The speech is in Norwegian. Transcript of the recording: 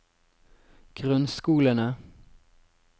grunnskolene